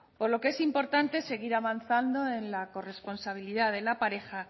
por lo que es importante seguir avanzando en la corresponsabilidad de la pareja